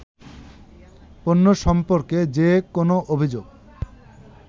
পণ্য সম্পর্কে যে কোনো অভিযোগ